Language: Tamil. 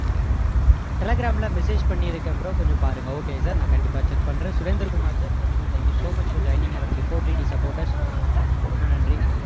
telegram ல message பண்ணி இருக்கேன் bro கொஞ்சம் பாருங்க okay sir நான் கண்டிப்பா check பண்றேன் Surender Kumar sir thank you thank you so much for joining our before TT supporters ரொம்ப நன்றி